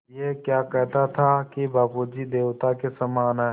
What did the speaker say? ऐं क्या कहता था कि बाबू जी देवता के समान हैं